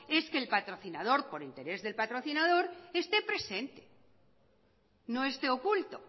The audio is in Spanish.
es que el patrocinador por interés de patrocinador esté presente no esté oculto